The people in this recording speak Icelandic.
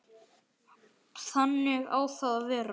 Þannig á það að vera.